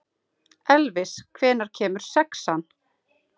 Elvis, hvenær kemur sexan?